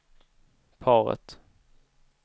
paret